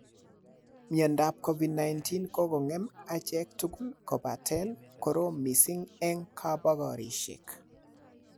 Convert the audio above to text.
Covid-19 ko kogongem echek tugul kobaten korom missing en kobogorisiek.